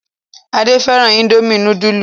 Ade fẹ́ràn Indomie núdúlù.